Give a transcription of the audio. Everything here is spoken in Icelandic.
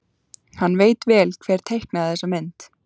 Hann veit vel hver teiknaði þessa mynd.